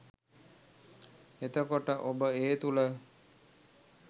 එතකොට ඔබ ඒ තුළ